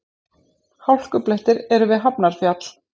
Hálkublettir eru við Hafnarfjall